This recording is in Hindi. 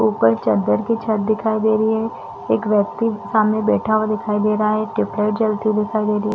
ऊपर चददर की छत्त दिखाई दे रही है एक व्यक्ति सामने बैठा हुआ दिखाई दे रहा है टियूबलाइट जलती दिखाई दे रही--